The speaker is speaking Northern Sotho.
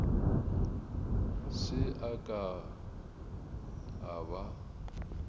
se a ka a ba